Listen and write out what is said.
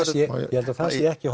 ég held að það sé ekki